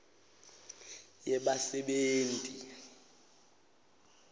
yebasebenti